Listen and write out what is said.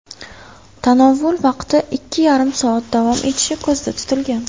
Tanovvul vaqti ikki yarim soat davom etishi ko‘zda tutilgan.